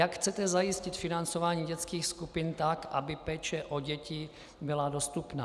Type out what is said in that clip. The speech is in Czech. Jak chcete zajistit financování dětských skupin tak, aby péče o děti byla dostupná?